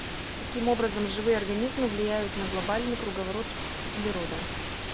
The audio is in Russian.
каким образом живые организмы влияют на глобальный круговорот углерода